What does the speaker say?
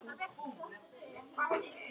Af hverju erum við bara ekki áfram hérna?